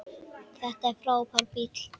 Þetta er frábær bíll.